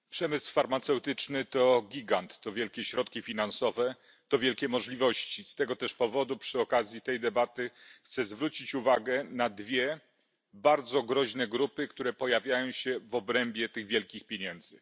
Panie Przewodniczący! Przemysł farmaceutyczny to gigant, to wielkie środki finansowe, to wielkie możliwości. Z tego też powodu, przy okazji tej debaty, chcę zwrócić uwagę na dwie bardzo groźne grupy, które pojawiają się w obrębie tych wielkich pieniędzy.